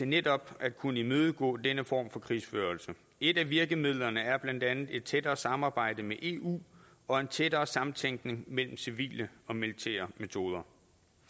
netop at kunne imødegå denne form for krigsførelse et er virkemidlerne er blandt andet et tættere samarbejde med eu og en tættere samtænkning mellem civile og militære metoder